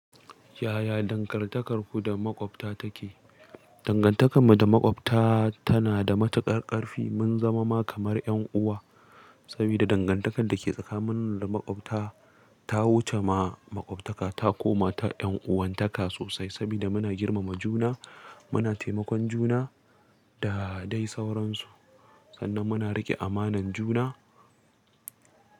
Yaya dangantakarku da maƙwabta take? Dangantakar mu da maƙwabta tana da matuƙar ƙarfi, mun zama ma kamar 'yan uwa. Sabida dangantakar da ke tsakanin mu da maƙwabta ta wuce ma maƙwabtaka ta koma ta 'yan'uwantaka sosai saboda muna girmama juna, muna taimakon juna da dai sauransu. Sannan muna riƙe amanan juna.